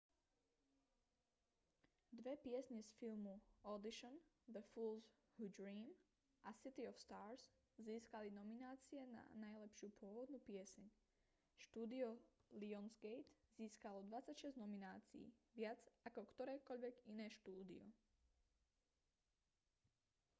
dve piesne z filmu audition the fools who dream a city of stars získali nominácie na najlepšiu pôvodnú pieseň. štúdio lionsgate získalo 26 nominácií – viac ako ktorékoľvek iné štúdio